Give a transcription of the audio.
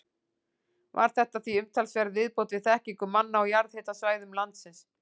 Var þetta því umtalsverð viðbót við þekkingu manna á jarðhitasvæðum landsins.